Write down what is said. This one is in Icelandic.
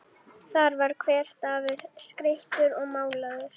Þar var hver stafur skreyttur og málaður.